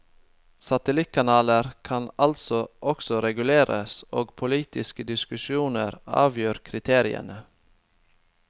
Satellittkanaler kan altså også reguleres, og politiske diskusjoner avgjør kriteriene.